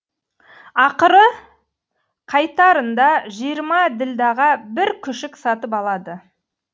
ақыры қайтарында жиырма ділдәға бір күшік сатып алады